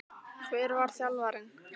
Hver var þjálfarinn?